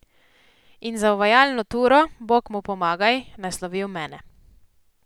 In za uvajalno turo, bog mu pomagaj, naslovil mene.